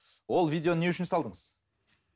ол видеоны не үшін салдыңыз